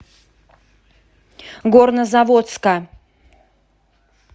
горнозаводска